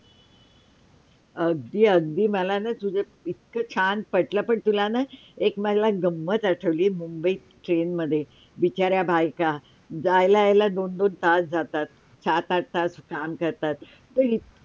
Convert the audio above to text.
अगदी -अगदी मला ना तुझा इतका छान पटलं पण तुला न एक मला गम्मत आठवली मुंबई TRIN मध्ये बिचाऱ्या बायका जायला - यायला दोन -दोन तास जातात सात आठ तास काम करतात.